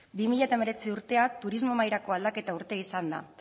bi mila hemeretzi urtea turismo mahairako aldaketa urtea izan da